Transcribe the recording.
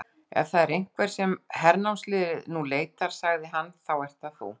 Ef það er einhver sem hernámsliðið nú leitar, sagði hann,-þá ert það þú.